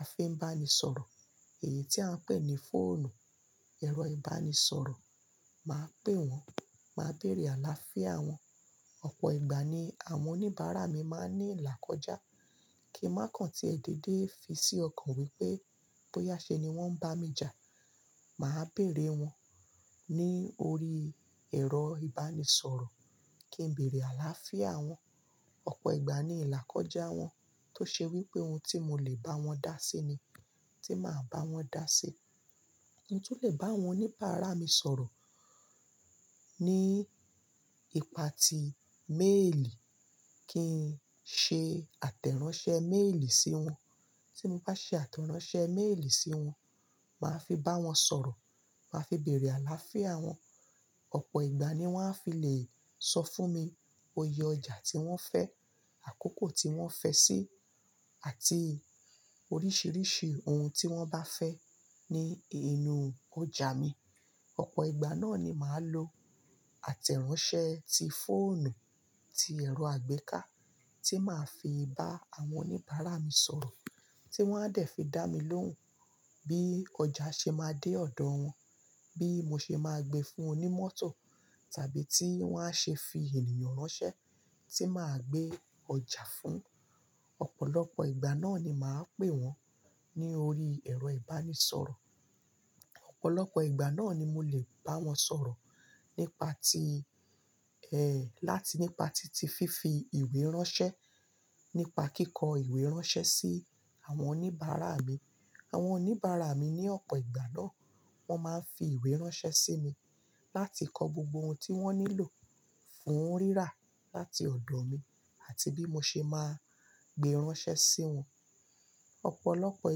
a fi ń bá ni sọ̀rọ̀, èyí tí à ń pè ní fóònù, ẹ̀rọ ìbánisọ̀rọ̀. Màá pè wọ́n, màá bèrè àláfíà wọ́n. Ọ̀pọ̀ ìgbà ni àwọn oníbàárà mi máa ń ní ìlàkọ́jà kí n má kan tí ẹ dédé fi sí ọkàn wípé bóyá ṣe ni wón ń bá mi jà. Màá bèrè wọ́n ní orí ẹ̀rọ ìbánisọ̀rọ̀ kí n bèrè àláfíà wọn. Ọ̀pọ̀ ìgbà ni ìlàkọ́jà wọn tó ṣe wípé ohun tí mo lè bá wọn dá sí ni tí màá bá wọn dá sí. Mo tún lè bá àwọn oníbàárà mi sọ̀rọ̀ ní ipa ti méèlì kí n ṣe àtẹ̀ránsẹ́ méèlì sí wọn. Tí mo bá ṣe àtẹ̀ránsẹ́ méèlì sí wọn, màá fi bá wọn sọ̀rọ̀, màá fi bèrè àláfíà wọn. Ọ̀pọ̀ ìgbà ni wọ́n á fi lè sọ fún mi oyè ọjà tí wọ́n fẹ́, àkókò tí wọ́n fẹ́ sí, àti oríṣiríṣi ohun tí wọ́n bá fẹ́ ní inú ọjà mi. Ọ̀pọ̀ ìgbà náà ni màá lo àtẹ̀ránsẹ́ ti fóònù ti ẹ̀rọ àgbéká tí màá fi bá àwọn oníbàárà mi sọ̀rọ̀ tí wọ́n á dẹ̀ fi dá mi lóhùn bí ọjà ṣe máa dé ọ̀dọ̀ wọn, bí mo ṣe máa gbe fún onímótò tàbí tí wọ́n a ṣe fi ènìyàn ránṣẹ́ tí màá gbé ọjà fún. Ọ̀pọ̀lọpọ̀ ìgbà náà ni màá pè wọ́n ní orí ẹ̀rọ ìbánisọ̀rọ̀. Ọ̀pọ̀lọpọ̀ ìgbà náà ni mo lè bá wọn sọ̀rọ̀ nípa ti, ẹ, láti nípa titifi ìwé ránṣẹ́, nípa kíkọ ìwé ránṣẹ́ sí àwọn oníbàárà mi. Àwọn oníbàárà mi ní ọ̀pọ̀ ìgbà náà wọ́n máa ń fi ìwé ránṣẹ́ sí mi láti kọ gbogbo ohun tí wọ́n nílò fún rírà láti ọ̀dọ̀ mi àti bí mo ṣe máa gbe ránṣẹ́ sí wọn. Ọ̀pọ̀lọpọ̀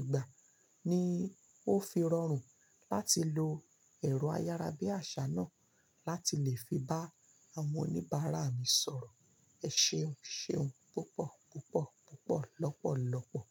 ìgbà ni ó fi rọrùn láti lo ẹ̀rọ ayára bí àṣá náà láti lè fi bá àwọn oníbàárà mi sọ̀rọ̀. Ẹ ṣeun, ṣeun púpọ̀, púpọ̀, púpọ̀, lọ́pọ̀lọ́pọ̀.